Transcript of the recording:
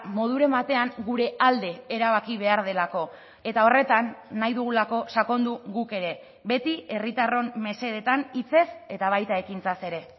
moduren batean gure alde erabaki behar delako eta horretan nahi dugulako sakondu guk ere beti herritarron mesedetan hitzez eta baita ekintzaz ere